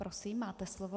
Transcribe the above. Prosím, máte slovo.